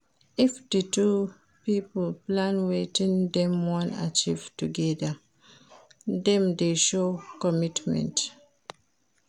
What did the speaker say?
If di two pipo plan wetin dem won achieve together dem de show commitment